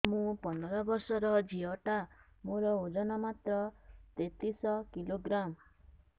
ମୁ ପନ୍ଦର ବର୍ଷ ର ଝିଅ ଟା ମୋର ଓଜନ ମାତ୍ର ତେତିଶ କିଲୋଗ୍ରାମ